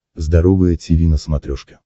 здоровое тиви на смотрешке